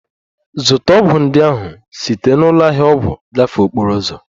Zụta ọgwụ ndị ahụ site na ụlọ ahịa ọgwụ gafee okporo ụzọ!